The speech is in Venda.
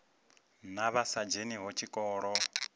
na vha sa dzheniho tshikolo